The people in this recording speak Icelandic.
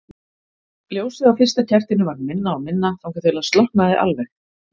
Ljósið á fyrsta kertinu varð minna og minna þangað til það slokknaði alveg.